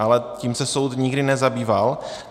Ale tím se soud nikdy nezabýval.